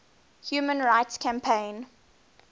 human rights campaign